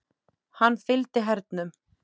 Hann fylgdi hernum.